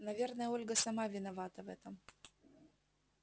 наверно ольга сама виновата в этом